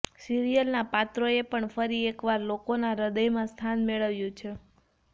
સિરિયલના પાત્રોએ પણ ફરી એકવાર લોકોના હ્દયમાં સ્થાન મેળવ્યું છે